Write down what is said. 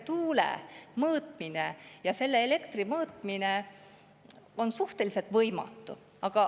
Tuule ja selle elektri mõõtmine on suhteliselt võimatu.